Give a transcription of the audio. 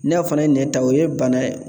Ne fana ye n ta o ye bana ye